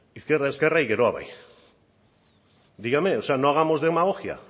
izquierda ezkerra y geroa bai dígame no hagamos demagogia